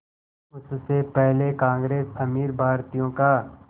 उससे पहले कांग्रेस अमीर भारतीयों का